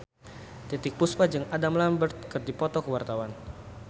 Titiek Puspa jeung Adam Lambert keur dipoto ku wartawan